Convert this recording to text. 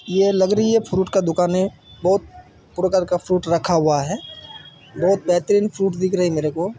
ये लग रही है फ्रूट का दूकान है बहुत प्रोकार का फ्रूट रखा हुआ है बहुत बेहतरीन फ्रूट दिख रहे मेरे को।